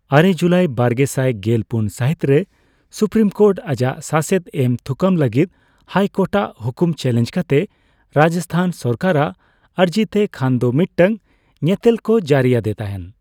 ᱟᱨᱮ July ᱵᱟᱨᱜᱮᱥᱟᱭ ᱜᱮᱞ ᱯᱩᱱ ᱥᱟᱹᱦᱤᱛᱨᱮ ᱥᱩᱯᱨᱤᱢ ᱠᱳᱨᱴ ᱟᱡᱟᱜ ᱥᱟᱥᱮᱛ ᱮᱢ ᱛᱷᱩᱠᱟᱹᱢ ᱞᱟᱹᱜᱤᱫ ᱦᱟᱭᱠᱳᱴᱨᱴᱟᱜ ᱦᱩᱠᱩᱢ ᱪᱮᱹᱞᱮᱹᱧᱡᱽ ᱠᱟᱛᱮ ᱨᱟᱡᱚᱥᱛᱷᱟᱱ ᱥᱚᱨᱠᱟᱨᱟᱜ ᱟᱹᱨᱡᱤᱛᱮ ᱠᱷᱟᱱᱫᱚ ᱢᱤᱫᱴᱟᱝ ᱧᱮᱛᱮᱞᱠᱚ ᱡᱟᱹᱨᱤ ᱟᱫᱮ ᱛᱟᱦᱮᱸ ᱾